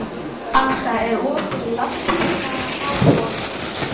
Ása, er opið í Landbúnaðarháskólanum?